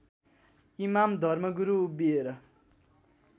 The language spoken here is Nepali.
इमाम धर्मगुरु उभिएर